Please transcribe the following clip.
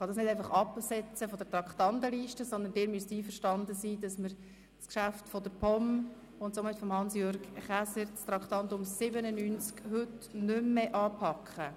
Ich kann dies nicht einfach von der Traktandenliste absetzen, sondern Sie müssen einverstanden sein, das Traktandum 97, ein Geschäft der POM und somit von Hans-Jürg Käser, nicht mehr anzupacken.